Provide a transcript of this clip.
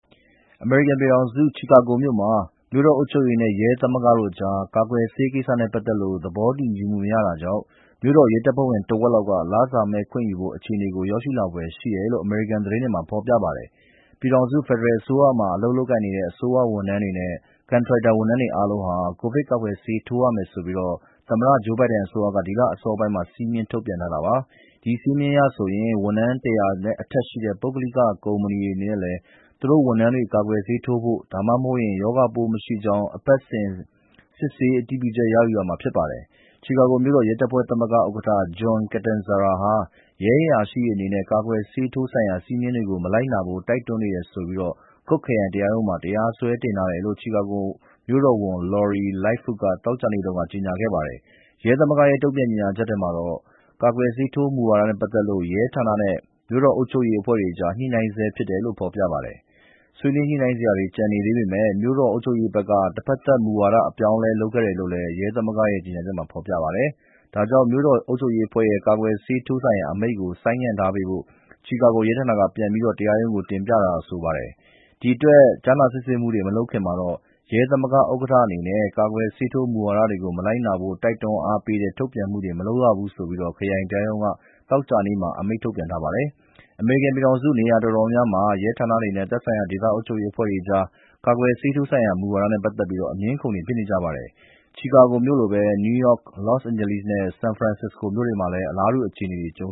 အမေရိကန်ပြည်ထောင်စု ချီကာဂိုမြို့မှာတော့ မြို့တော်အုပ်ချုပ်ရေးနဲ့ ရဲသမဂ္ဂတို့အကြား ကာကွယ်ဆေးကိစ္စနဲ့ ပတ်သက်လို့ သဘောတူညီမှု မရတာကြောင့် မြို့တော်ရဲတပ်ဖွဲ့ဝင် တဝက်လောက် လစာမဲ့ခွင့်ယူဖို့ အခြေအနေ ရောက်လာဖွယ်ရှိတယ်လို့ အမေရိကန် သတင်းတွေမှာ ဖော်ပြပါတယ်။ ပြည်ထောင်စု ဖက်ဒရယ်အစိုးရမှာ လုပ်ကိုင်တဲ့ အစိုးရဝန်ထမ်းတွေနဲ့ ကန်ထရိုက်ဝန်ထမ်းတွေ အားလုံးဟာ ကိုဗစ်ကာကွယ်ဆေး ထိုးရမယ်ဆိုပြီး သမ္မတ Joe Biden အစိုးရက ဒီလအစောပိုင်းက စည်းမျဉ်းထုတ်ထားပါတယ်။ ဒီစည်းမျဉ်းအရဆိုရင် ဝန်ထမ်း ၁၀၀ ကျော်ရှိတဲ့ ပုဂ္ဂလိက ကုမ္ပဏီတွေ အနေနဲ့လည်း သူတို့ဝန်ထမ်းတွေ ကာကွယ်ဆေးထိုးဖို့ ဒါမှမဟုတ်ရင် ရောဂါပိုးမရှိကြောင်း အပတ်စဉ် စစ်ဆေးအတည်ပြုချက် ရယူရမှာ ဖြစ်ပါတယ်။ ချီကာဂိုမြို့တော်ရဲတပ်ဖွဲ့သမဂ္ဂ ဥက္ကဋ္ဌ John Catanzara ဟာ ရဲအရာရှိတွေ အနေနဲ့ ကာကွယ်ဆေးထိုးရေးဆိုင်ရာ ဒီစည်းမျဉ်းကို မလိုက်နာဖို့ တိုက်တွန်းနေတယ်ဆိုပြီး Cook ခရိုင်တရားရုံးမှာ တရားစွဲတင်ထားတယ်လို့ ချီကာဂိုမြို့တော်ဝန် Lori Lightfoot က သောကြာနေ့တုန်းက ကြေညာခဲ့ပါတယ်။ ရဲသမဂ္ဂရဲ့ တုံ့ပြန်ကြေညာချက်ထဲမှာတော့ ကာကွယ်ဆေးထိုးရေး မူဝါဒနဲ့ ပတ်သက်လို့ ရဲဌာနနဲ့ မြို့တော်အုပ်ချုပ်ရေးအဖွဲ့အကြား ညှိနှိုင်းဆဲဖြစ်တယ်လို့ ဆိုပါတယ်။ ဆွေးနွေးညှိနှိုင်းစရာတွေ ကျန်သေးပေမယ့် မြို့တော်အုပ်ချုပ်ရေးဘက်က တဖက်သတ် မူဝါဒအပြောင်းအလဲ လုပ်ခဲ့တယ်လို့လည်း ရဲသမဂ္ဂ ကြေညာချက်မှာ ဖော်ပြပါတယ်။ ဒါကြောင့် မြို့တော်အုပ်ချုပ်ရေးအဖွဲ့ရဲ့ ကာကွယ်ဆေးထိုးရေးဆိုင်ရာ အမိန့်ကို ဆိုင်းပေးထားဖို့ ချီကာဂိုရဲဌာနက ပြန်ပြီး တရားရုံး တင်ပြထားတယ်လို့ ဆိုပါတယ်။ ဒီအတွက် ကြားနာစစ်ဆေးမှု မလုပ်ခင်မှာတော့ ရဲသမဂ္ဂဥက္ကဋ္ဌ အနေနဲ့ ကာကွယ်ဆေးထိုးရေး မူဝါဒကို မလိုက်နာဖို့ တိုက်တွန်းအားပေးတဲ့ ထုတ်ပြန်မှုတွေ မလုပ်ရဘူးဆိုပြီး ခရိုင်တရားရုံးက သောကြာနေ့ ညနေပိုင်းက အမိန့်ထုတ်ထားပါတယ်။ အမေရိကန်ပြည်ထာင်စု နေရာအတော်မျာများမှာတော့ ရဲဌာနတွေနဲ့ သက်ဆိုင်ရာ ဒေသအုပ်ချုပ်ရေး အဖွဲ့တွေအကြား ကာကွယ်ဆေးထိုးရေးဆိုင်ရာ မူဝါဒနဲ့ ပတ်သက်ပြီး အငြင်းအခုံတွေ ဖြစ်နေပါတယ်။ ချီကာဂိုမြို့လိုပဲ နယူးယောက်၊ လော့စ်အိန်ဂျလိစ်နဲ့ ဆန်ဖရန်စစ္စကို မြို့တွေမှာလည်း အလားတူ အခြေအနေတွေ ကြုံ